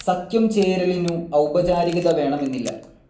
സഖ്യം ചേരലിനു ഔപചാരികത വേണമെന്നില്ല.